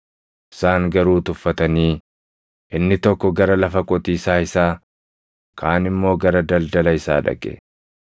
“Isaan garuu tuffatanii, inni tokko gara lafa qotiisaa isaa, kaan immoo gara daldala isaa dhaqe.